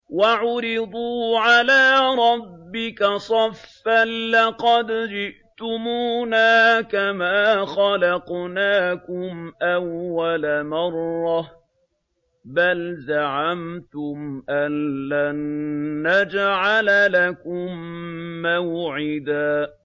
وَعُرِضُوا عَلَىٰ رَبِّكَ صَفًّا لَّقَدْ جِئْتُمُونَا كَمَا خَلَقْنَاكُمْ أَوَّلَ مَرَّةٍ ۚ بَلْ زَعَمْتُمْ أَلَّن نَّجْعَلَ لَكُم مَّوْعِدًا